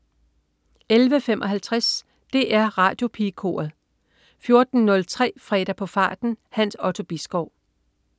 11.55 DR Radiopigekoret 14.03 Fredag på farten. Hans Otto Bisgaard